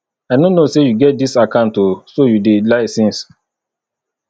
i no know say you get dis account oo so you dey lie since